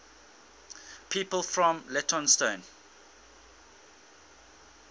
people from leytonstone